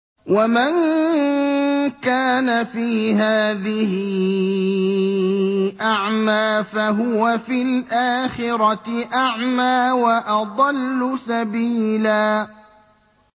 وَمَن كَانَ فِي هَٰذِهِ أَعْمَىٰ فَهُوَ فِي الْآخِرَةِ أَعْمَىٰ وَأَضَلُّ سَبِيلًا